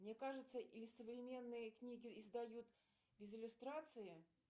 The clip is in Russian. мне кажется или современные книги издают без иллюстрации